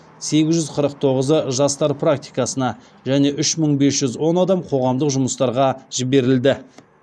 сегіз жүз қырық тоғызы жастар практикасына және үш мың бес жүз он адам қоғамдық жұмыстарға жіберілді